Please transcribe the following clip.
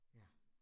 Ja